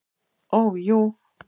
Ó jú.